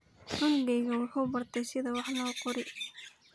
Cunugeyga muxuu bartey sidhi wax loqori.